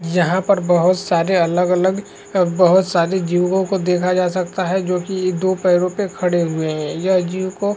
यहाँ पर बोहोत सारे अलग अलग बोहोत सारे जीवों को देखा जा सकता है जो की दो पैरो पे खड़े हुए है यह जीव को--